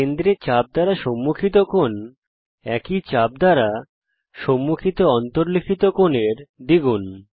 কেন্দ্রে চাপ দ্বারা সম্মুখিত কোণ একই চাপ দ্বারা সম্মুখিত অন্তর্লিখিত কোণের দ্বিগুণ